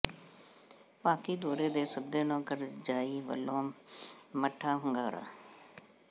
ਪਾਕਿ ਦੌਰੇ ਦੇ ਸੱਦੇ ਨੂੰ ਕਰਜ਼ਾਈ ਵੱਲੋਂ ਮੱਠਾ ਹੁੰਗਾਰਾ